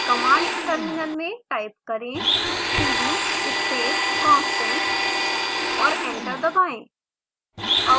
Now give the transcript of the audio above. command terminal में type करें: cd space constant और एंटर दबाएं